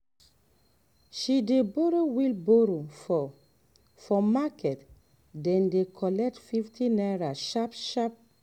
she dey borrow wheelbarrow for for market day dey collect fifty naira sharp sharp